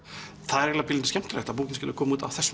er eiginlega pínulítið skemmtilegt að bókin skuli koma út á þessum